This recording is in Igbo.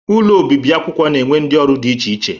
Ụlọ obibi akwụkwọ na-enwe ndị ọrụ dị iche iche.